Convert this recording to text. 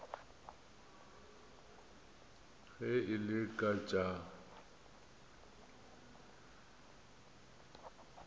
ge e le ka tša